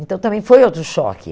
Então, também foi outro choque.